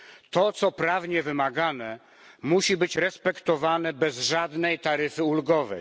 To, co prawnie wymagane, musi być respektowane bez żadnej taryfy ulgowej.